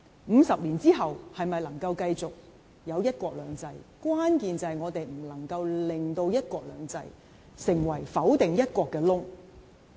五十年後是否繼續有"一國兩制"，關鍵在於我們不能令"一國兩制"成為否定"一國"的缺口。